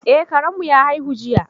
Eh, Karen mu ya haihu jiya.